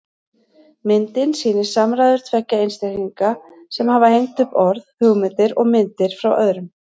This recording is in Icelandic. Myndin sýnir samræður tveggja einstaklinga sem hafa hengt upp orð, hugmyndir og myndir frá öðrum.